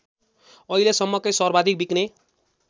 अहिलेसम्मकै सर्वाधिक बिक्ने